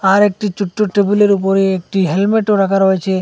আরেকটি ছোট্ট টেবিলের উপরে একটি হেলমেটও রাখা রয়েছে।